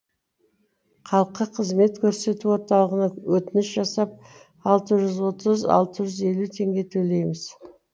халыққа қызмет көрсету орталығына өтініш жасап алты жүз отыз алты жүз елу теңге төлейміз